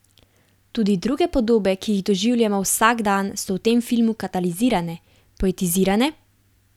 Tudi druge podobe, ki jih doživljamo vsak dan, so v tem filmu katalizirane, poetizirane?